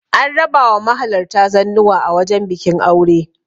an raba wa mahalarta zannuwa a wajen bikin aure